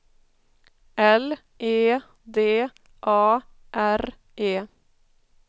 L E D A R E